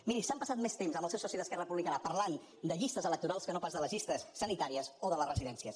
miri s’han passat més temps amb el seu soci d’esquerra republicana parlant de llistes electorals que no pas de les llistes sanitàries o de les residències